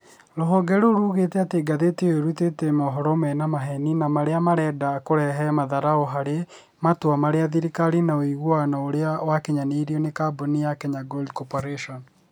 Ruhonge rũu rugĩte atĩ ngathĩti ĩyo ĩrũtĩte mohoro mena maheni na arĩa marenda kũrehe matharaũ harĩ matũa ma thirikari na ũigũano ũrĩa wakĩnyanĩrĩo nĩ kambũnĩ ya Kenya Gold Corporatĩon